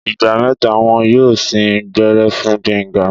Ìgbà mẹ́ta wón yóò sín gbẹ́rẹ́ fún Gbénga.